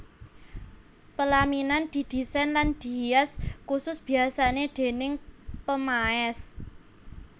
Pelaminan didisain lan dihias kusus biasane déning pemaes